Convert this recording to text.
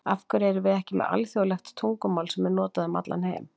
AF HVERJU ERUM VIÐ EKKI MEÐ ALÞJÓÐLEGT TUNGUMÁL SEM ER NOTAÐ UM ALLAN HEIM???